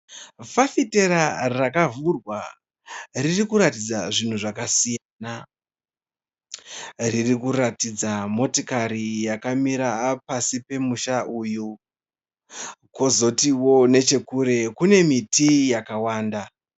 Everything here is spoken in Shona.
Fafitera rakavhurwa. Ririkuratidza zvinhu zvakasiyana. Ririkuratidza motikari yakamira pasi pomusha uyu kwozotiwo nechekure kune miti yakawanda.